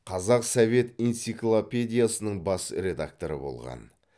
қазақ совет энциклопедиясының бас редакторы болған